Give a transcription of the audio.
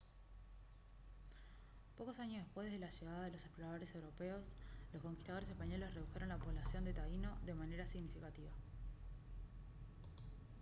pocos años después de la llegada de los exploradores europeos los conquistadores españoles redujeron la población de taíno de manera significativa